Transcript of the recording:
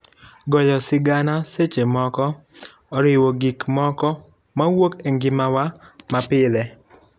Goyo sigana seche moko oriwo gik moko mawuok e ngimawa mapile.